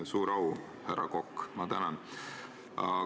Suur au, härra Kokk, ma tänan!